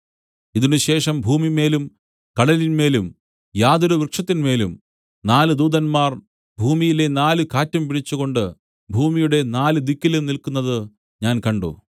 ഇതിനുശേഷം ഭൂമിമേലും കടലിന്മേലും യാതൊരു വൃക്ഷത്തിന്മേലും നാല് ദൂതന്മാർ ഭൂമിയിലെ നാല് കാറ്റും പിടിച്ചുകൊണ്ടു ഭൂമിയുടെ നാല് ദിക്കിലും നില്ക്കുന്നതു ഞാൻ കണ്ട്